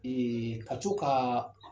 ka co ka